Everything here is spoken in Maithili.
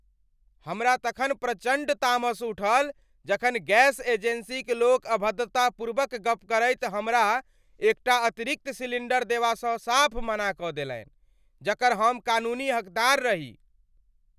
हमरा तखन प्रचण्ड तामस उठल जखन गैस एजेन्सीक लोक अभद्रतापूर्वक गप्प करैत हमरा एकटा अतिरिक्त सिलिण्डर देबासँ साफ़ मना कऽ देलनि जकर हमकानूनी हकदार रही ।